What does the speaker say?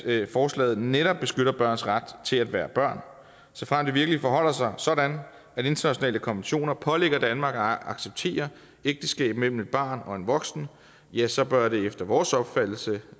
at forslaget netop beskytter børns ret til at være børn såfremt det virkelig forholder sig sådan at internationale konventioner pålægger danmark at acceptere ægteskab mellem et barn og en voksen ja så bør det efter vores opfattelse